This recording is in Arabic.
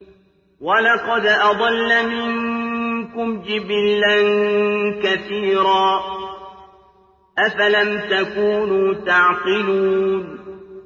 وَلَقَدْ أَضَلَّ مِنكُمْ جِبِلًّا كَثِيرًا ۖ أَفَلَمْ تَكُونُوا تَعْقِلُونَ